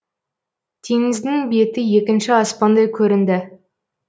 теңіздің беті екінші аспандай көрінді